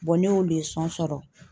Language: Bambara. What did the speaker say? ne y'o sɔrɔ.